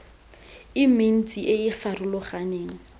e mentsi e e farologaneng